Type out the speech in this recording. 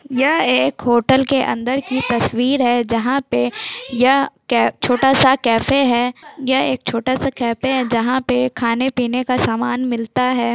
यह एक होटल के अंदर की तस्वीर हैं जहाँ पे यह छोटा-सा कैफ हैं यह एक छोटा सा कैफ़े हैं जहाँ पे खाने पीने का सामान मिलता हैं।